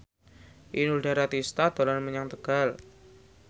Inul Daratista dolan menyang Tegal